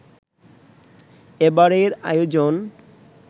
এবারের আয়োজন